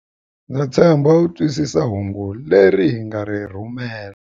Ndza tshemba u twisisa hungu leri hi nga ri rhumela.